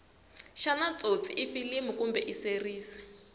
shana tsotsi ifilimu kumbe iseries